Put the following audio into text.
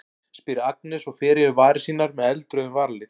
spyr Agnes og fer yfir varir sínar með með eldrauðum varalit.